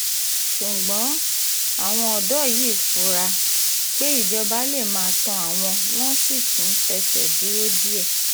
ṣùgbọ́n um àwọn ọ̀dọ́ yìí fura um pé ìjọba lè máa tán àwọn wọ́n sì tún tẹsẹ̀ dúró díẹ̀